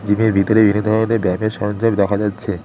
জিমের ভিতরে বিভিন্ন ধরনের ব্যায়ামের দেখা যাচ্ছে।